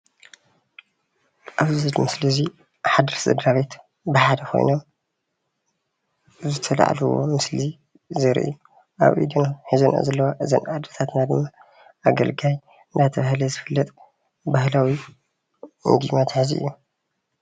ኣብዚ ምስሊ እዙይ ሓደ ሰድራቤት ብሓደ ኾይኖም ኣብ ዝተልዓልዎ ምስሊ ዘርኢ ኣብ ኢደን ሒዞንኦ ዘለዋ እተን ኣድታትና ድማ አገልጋይ እናተብሃለ ዝፍለጥ ባህላዊ ምግቢ መትሐዚ እዩ።